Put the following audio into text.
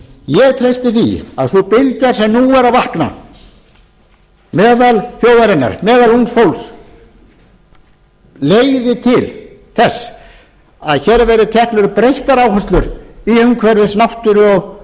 ég treysti því að sú bylgja sem nú er að vakna meðal þjóðarinnar meðal ungs fólks leiði til þess að hér verði teknar upp breyttar áherslu í umhverfis náttúru og